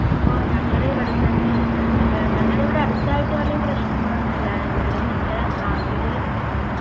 ഇപ്പോൾ ഞങ്ങളുടെ ഇവിടുത്തന്നെ ഏർ ഞങ്ങളുടെ ഇവിടെ അടുത്ത ആയിട്ട് അധികം പ്രശ്നങ്ങളൊന്നുമില്ല എങ്കിലും ഞങ്ങടെ നാട്ടിലു